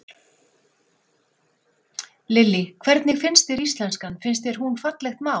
Lillý: Hvernig finnst þér íslenskan, finnst þér hún fallegt mál?